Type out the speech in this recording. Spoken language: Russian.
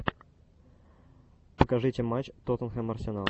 покажите матч тоттенхэм арсенал